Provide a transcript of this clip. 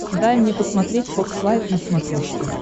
дай мне посмотреть фокс лайв на смотрешке